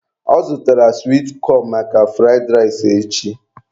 Ọ zụtara swit cọn maka fụraid rais echi